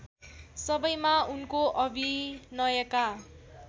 सबैमा उनको अभिनयका